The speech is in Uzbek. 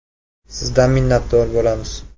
Sizdan minnatdor bo‘lamiz.